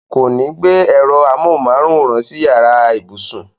Kò ní gbé ẹ̀rọ amóhùnmáwòrán sí yàrá ibùsùn.